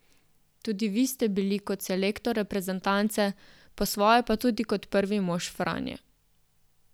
Tudi vi ste bili kot selektor reprezentance, po svoje pa tudi kot prvi mož Franje.